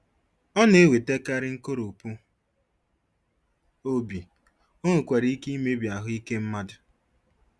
ọ na-ewetakarị nkoropụ obi,o nwekwara ike imebi ahụ ike mmadụ.